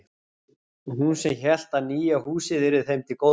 Og hún sem hélt að nýja húsið yrði þeim til góðs.